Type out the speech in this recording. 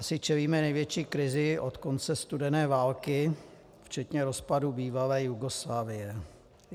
Asi čelíme největší krizi od konce studené války, včetně rozpadu bývalé Jugoslávie.